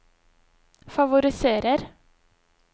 favoriserer